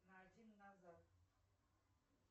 на один назад